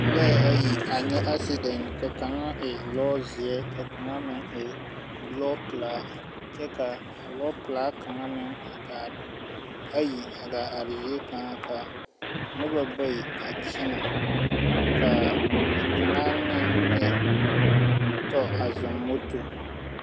Lɔɛ ayi a nyɛ aasedɛn ka kaŋa e lɔɔzeɛ, ka a kaŋa meŋ e lɔɔpelaa, kyɛ ka a lɔɔpelaa kaŋa meŋ a gaa.., ayi a gaa are zie kaŋa ka noba bayi a kyena, ka kaŋa meŋ ne.., tɔɔ a zɔŋ moto.